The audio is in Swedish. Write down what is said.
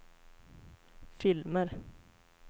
filmer